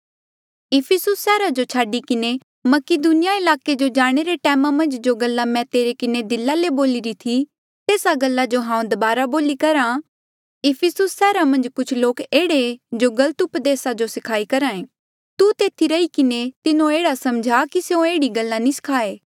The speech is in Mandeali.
इफिसुस सैहरा जो छाडी किन्हें मकीदुनिया ईलाके जो जाणे रे टैमा मन्झ जो गल्ला मैं तेरे किन्हें दिला ले बोलिरी थी तेस्सा गल्ला जो हांऊँ दबारा बोली करहा कि इफिसुस सैहरा मन्झ कुछ लोक एह्ड़े जो गलत उपदेसा जो सखाई करहे तू तेथी रही किन्हें तिन्हो एह्ड़ा समझा कि स्यों एह्ड़ी गल्ला नी स्खाये